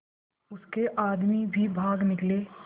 उसके आदमी भी भाग निकले